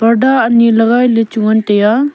parda aani lagai le lechu ngai tai aa.